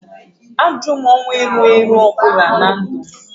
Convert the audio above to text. M na-ajụ ọnwụ erughị eru ọ bụla na ndụ m